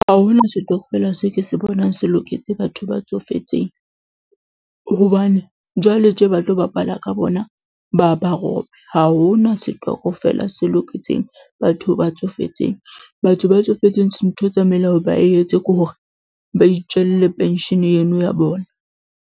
Ha hona setokfela, se ke se bonang se loketse batho ba tsofetseng. Hobane jwale tje ba tlo bapala ka bona ba ba rope. Ha ho na setokofela se loketseng batho ba tsofetseng. Batho ba tsofetseng ntho e tsamaile ya hore ba etse ke hore ba itjelle pension eno ya bona.